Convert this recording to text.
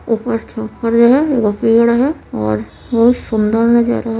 ऊपर हेय एगो पेड़ हेय और बहुत सुंदर नजारा हेय।